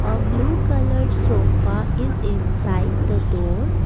A blue colour sofa is inside the door.